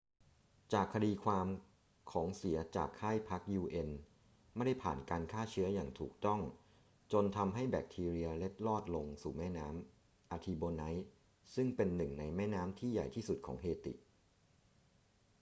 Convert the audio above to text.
จากคดีความ ของเสียจากค่ายพัก un ไม่ได้ผ่านการฆ่าเชื้ออย่างถูกต้องจนทำให้แบคทีเรียเล็ดรอดลงสู่แม่น้ำ artibonite ซึ่งเป็นหนึ่งในแม่น้ำที่ใหญ่ที่สุดของเฮติ